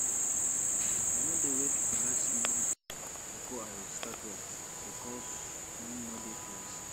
i no dey wait for last minute bifor i start work bikos time no dey to waste